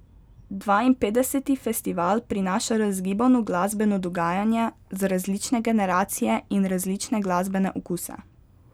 Dvainpetdeseti festival prinaša razgibano glasbeno dogajanje za različne generacije in različne glasbene okuse.